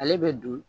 Ale bɛ don